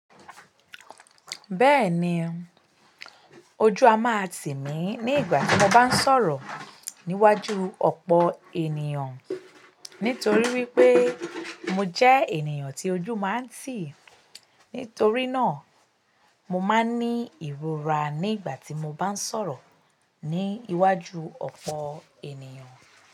Bẹẹni, ojú a máa timi ni igba tí mo ba n sọrọ níwájú òpó ènìyàn nitori wipe mo jẹ ènìyàn tí ojú máa n ti. Nítorí náà, mo máa ń ní ìrora ní ìgbà tí mo bá ń sọ̀rọ̀ ní iwájú ọ̀pọ̀ ènìyàn.